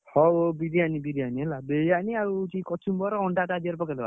ହଉ ହଉ ବିରିୟାନି ବିରିୟାନି ହେଲା ବିରିୟାନି ଆଉ ହଉଛି କଚୁମ୍ବର ଅଣ୍ଡା ଟା ଧେରେ ପକେଇଦବା।